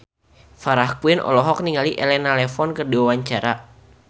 Farah Quinn olohok ningali Elena Levon keur diwawancara